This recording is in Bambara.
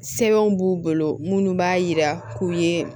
Sɛbɛnw b'u bolo minnu b'a yira k'u ye